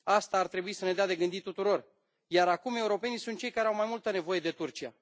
Asta ar trebui să ne dea de gândit tuturor, iar acum europenii sunt cei care au mai multă nevoie de Turcia.